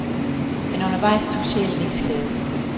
Men undervejs tog sjælen ikke skade.